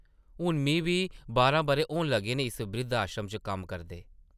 हून मी बी बारां बʼरे होन लगे न इस ब्रिद्ध-आश्रम च कम्म करदे ।